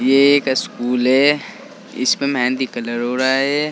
ये एक स्कूल है इसमें मेहंदी कलर हो रहा है।